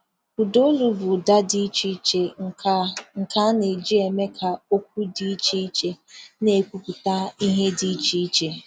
Ụdaolu bụ ụda dị iche iche nke a nke a na-eji eme ka okwu dị iche iche na-ekwupụta ihe dị iche.